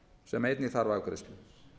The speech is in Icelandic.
sem einnig þarf afgreiðslu